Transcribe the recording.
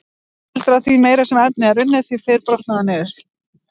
Almennt gildir að því meira sem efni er unnið, því fyrr brotnar það niður.